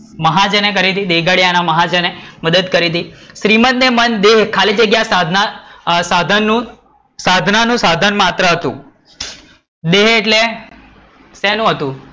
મહાજને કરી હતી દેગડીયા ના મહાજને કરી હતી. શ્રીમદ ને મન દેહ ખાલી જગ્યા સાધના સાધના નું સાધન માત્ર હતું. દેહ એટલે શેનું હતું?